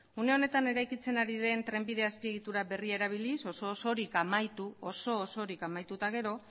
une honetan eraikitzen ari den trenbide azpiegitura berria erabiliz oso osorik amaitu eta gero